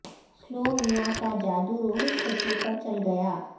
سلو میاں کا جادو روہت شیٹھی پر چل گیا